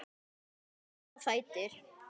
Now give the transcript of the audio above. Margrét stóð á fætur.